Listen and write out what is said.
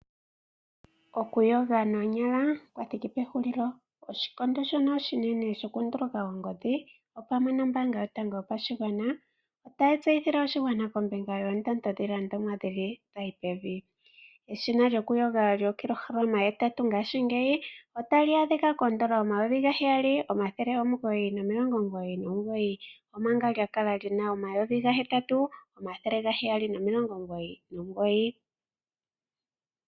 Okuyoga noonyala kwa thiki pehulilo. Oshikondo shono oshinene shokundulaka oongodhi, opwamwe nombaanga yotango yopashigwana, otayi tseyithile oshigwana kombinga yoondando dhiilandomwa nkene dha yi pevi. Eshina lyokuyoga lyookilohalama hetatu ngashingeyi otali adhika kondando yooN$ 7 999, omanga lya kala li na N$ 8 799.